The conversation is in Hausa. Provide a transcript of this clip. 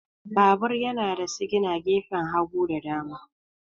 Babur yana da sigina gefen hagu da dama.